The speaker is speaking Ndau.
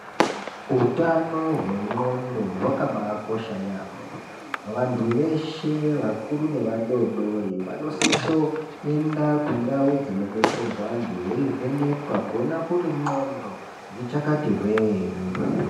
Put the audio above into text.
Utano hwendxondo hwakabakosha yampho. Vanthu veshe vakuru nevadoodori vanosiso kuende kundau dzinodetserwa vanthu veivhenekwa kuona kuti ndxondo dzichakati hwee ere.